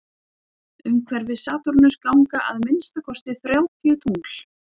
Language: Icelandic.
umhverfis satúrnus ganga að minnsta kosti þrjátíu tungl